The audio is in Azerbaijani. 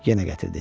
Yenə gətirdi.